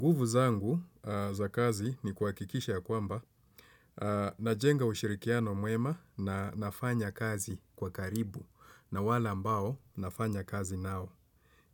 Nguvu zangu za kazi ni kuhakikisha ya kwamba najenga ushirikiano mwema na nafanya kazi kwa karibu na wale ambao nafanya kazi nao.